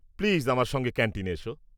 Please আমার সঙ্গে ক্যান্টিনে এসো।